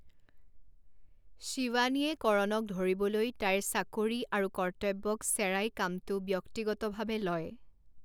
শিৱানীয়ে কৰণক ধৰিবলৈ তাইৰ চাকৰি আৰু কৰ্তব্যক চেৰাই কামটো ব্যক্তিগতভাৱে লয়।